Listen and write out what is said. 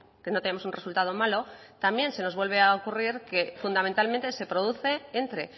que no tenemos un resultado malo también se nos vuelve a ocurrir que fundamentalmente se produce entre